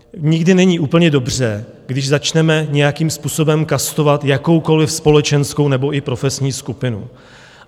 Nikdy není úplně dobře, když začneme nějakým způsobem kastovat jakoukoliv společenskou nebo i profesní skupinu.